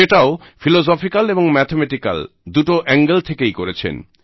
সেটাও ফিলজফিক্যাল এবং ম্যাথামেটিক্যাল দুটো অ্যাঙ্গেল থেকেই করেছেন